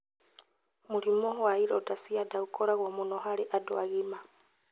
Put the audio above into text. Mũrimũ wa ironda cia nda ũkoragwo mũno harĩ andũ agima.